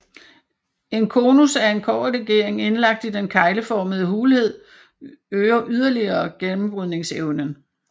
En konus af en kobberlegering indlagt i den kegleformede hulhed øger yderligere gennembrydningsevnen